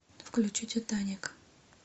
включи титаник